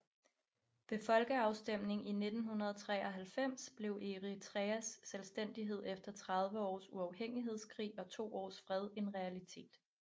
Ved folkeafstemning i 1993 blev Eritreas selvstændighed efter 30 års uafhængighedskrig og to års fred en realitet